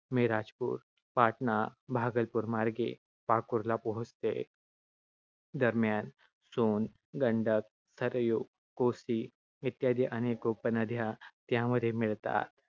मिरजापूर, पाटणा, भागलपूर मार्गे पाकूरला पोहोचते. दरम्यान, सोन, गंडक, सरयू, कोसी इत्यादी अनेक उपनद्या त्यामध्ये मिळतात.